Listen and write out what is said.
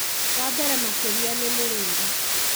wa mbere makĩria ni mũrĩĩre